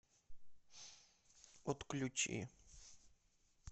отключи